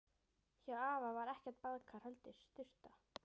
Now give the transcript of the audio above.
Hjá afa var ekkert baðkar, heldur sturta.